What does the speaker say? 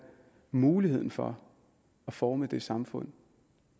muligheden for at forme det samfund